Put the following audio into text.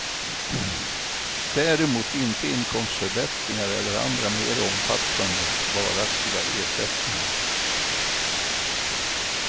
Däremot inte inkomstförbättringar eller andra mer omfattande, varaktiga ersättningar.